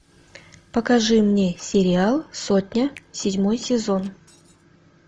покажи мне сериал сотня седьмой сезон